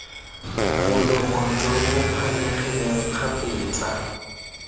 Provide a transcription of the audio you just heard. molomo jo bo phanyegileng kgapetsa